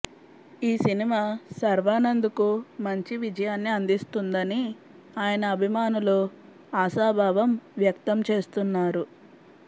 ఈ సినిమా శర్వానంద్ కు మంచి విజయాన్ని అందిస్తుందని ఆయన అభిమానులు ఆశాభావం వ్యక్తం చేస్తున్నారు